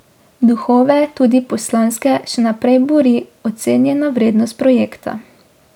Duhove, tudi poslanske, še naprej buri ocenjena vrednost projekta.